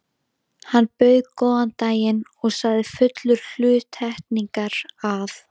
Hann bauð góðan daginn og sagði fullur hluttekningar, að